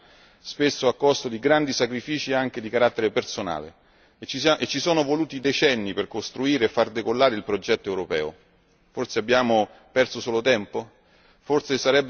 Ci siamo sforzati tanto per costruire i nostri Stati nazionali, spesso a costo di grandi sacrifici, anche di carattere personale, e ci sono voluti decenni per costruire e far decollare il progetto europeo.